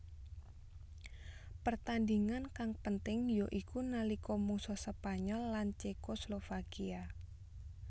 Pertandhingan kang penting ya iku nalika mungsuh Spanyol lan Cekoslovakia